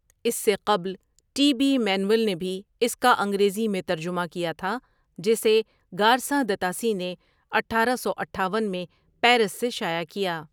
اس سے قبل T B Manuel نے بھی اس کا انگریزی میں ترجمہ کیا تھا جسے گارساں دتاسی نےاٹھارہ سو اٹھاون میں پیرس سے شایع کیا ۔